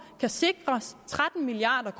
kan sikres tretten milliard